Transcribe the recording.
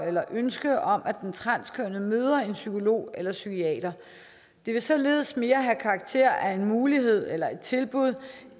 eller ønske om at den transkønnede møder en psykolog eller psykiater det vil således mere have karakter af en mulighed eller et tilbud